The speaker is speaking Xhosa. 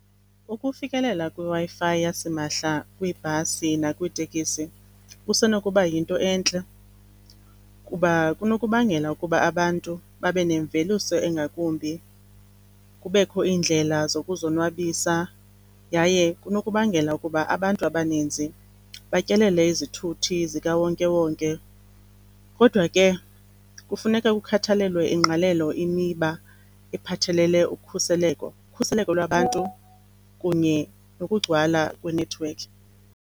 Ukufikelela kwiWi-Fi yasimahla kwiibhasi nakwiitekisi kusenokuba yinto entle kuba kunokubangela ukuba abantu babe nemveliso engakumbi, kubekho iindlela zokuzonwabisa, yaye kunokubangela ukuba abantu abaninzi batyelele izithuthi zikawonke-wonke. Kodwa ke kufuneka kukhathelelwe ingqalelo imiba ephathelele ukhuseleko, ukhuseleko lwabantu kunye nokugcwala kwenethiwekhi.